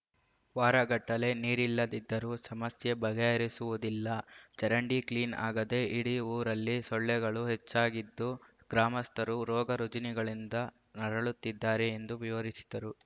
ವಾರಗಟ್ಟಲೆ ನೀರಿಲ್ಲದಿದ್ದರೂ ಸಮಸ್ಯೆ ಬಗೆಹರಿಸುವುದಿಲ್ಲ ಚರಂಡಿ ಕ್ಲೀನ್ ಆಗದೆ ಇಡೀ ಊರಲ್ಲಿ ಸೊಳ್ಳೆಗಳು ಹೆಚ್ಚಾಗಿದ್ದು ಗ್ರಾಮಸ್ಥರು ರೋಗ ರುಜಿನಗಳಿಂದ ನರಳುತ್ತಿದ್ದಾರೆ ಎಂದು ವಿವರಿಸಿದರು